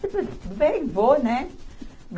Tudo bem, vou, né?